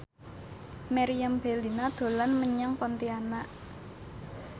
Meriam Bellina dolan menyang Pontianak